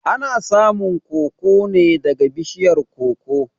Ana samun koko neh daga bishiyar koko